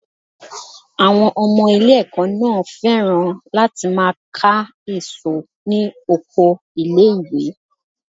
Àwọn ọmọ ilé ẹ̀kọ́ náà féràn láti máa ká èso ní oko ilé ìwé.